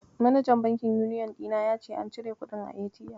Manajan bankin Uniyon ɗina ya ce an cire kuɗin a ATM.